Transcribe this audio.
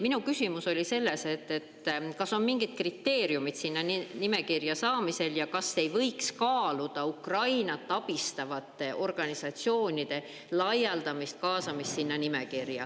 Minu küsimus oli selle kohta, kas on mingid kriteeriumid sinna nimekirja saamisel ja kas ei võiks kaaluda Ukrainat abistavate organisatsioonide nimekirja.